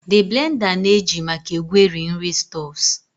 The blender na-eji maka egweri nri stuffs